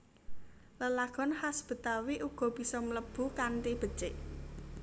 Lelagon khas Betawi uga bisa mlebu kanthi becik